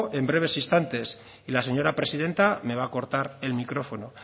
en breves instantes y la señora presidenta me va a cortar el micrófono